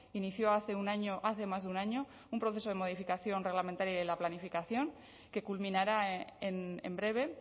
inició hace un año hace más de un año un proceso de modificación reglamentaria y de la planificación que culminará en breve